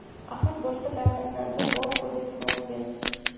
Axir boshqa davlatlarda bor-ku!” deb savol berdim.